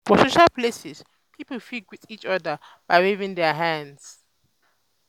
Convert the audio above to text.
for social places pipo fit greet each other by waving their hands